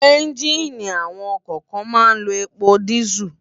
Ènjiní awòn òkò kán má n n ló épó dìsú